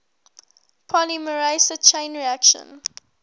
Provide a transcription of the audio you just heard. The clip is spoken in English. polymerase chain reaction